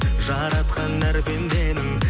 жаратқан әр пенденің